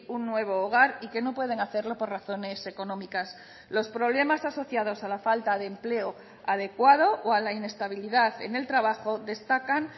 un nuevo hogar y que no pueden hacerlo por razones económicas los problemas asociados a la falta de empleo adecuado o a la inestabilidad en el trabajo destacan